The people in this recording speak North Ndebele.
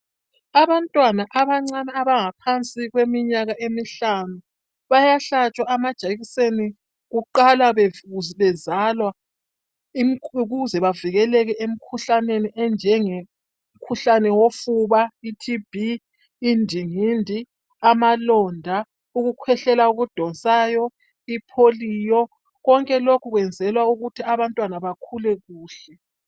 Abantwana abancane abangaphansi kweminyaka emihlanu bayahlatshwa amajekiseni kuqalwa bezalwa ukuze bavikeleke emkhuhlaneni enjenge mkhuhlane wofuba, iTB, indingindi, amalonda, ukukhwehlela okudonsayo,i polio konke lokhu kwenzelwa ukuthi abantwana bakhule kuhle.